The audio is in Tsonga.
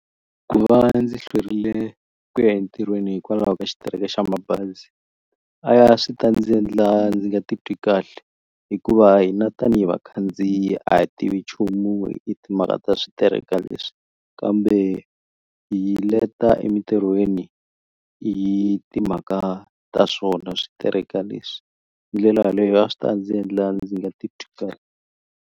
Ku va ndzi hlwerile ku ya entirhweni hikwalaho ka xitereko xa mabazi a ya swi ta ndzi endla ndzi nga titwi kahle hikuva hina tanihi vakhandziyi a hi tivi nchumu hi timhaka ta switereka leswi kambe hi leta emintirhweni hi timhaka ta swona switereka leswi hi ndlela yaleyo a swi ta ndzi endla ndzi nga titwi kahle.